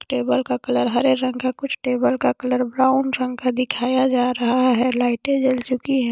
Table का colour हरे रंग का कुछ टेबल का कलर ब्राउन रंग का दिखाया जा रहा है लाइटे जल चुकी है।